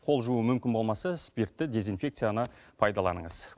қол жуу мүмкін болмаса спиртті дезинфекцияны пайдаланыңыз